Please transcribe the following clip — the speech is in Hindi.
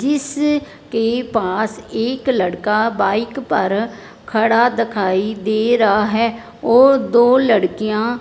जिसके पास एक लड़का बाइक पर खड़ा दखाई दे रहा है और दो लड़कियां --